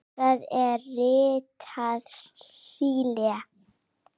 Það er ritað Síle.